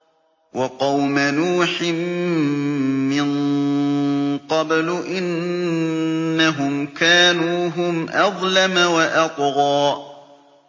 وَقَوْمَ نُوحٍ مِّن قَبْلُ ۖ إِنَّهُمْ كَانُوا هُمْ أَظْلَمَ وَأَطْغَىٰ